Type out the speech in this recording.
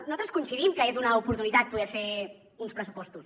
nosaltres coincidim que és una oportunitat poder fer uns pressupostos